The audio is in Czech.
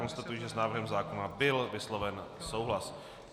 Konstatuji, že s návrhem zákona byl vysloven souhlas.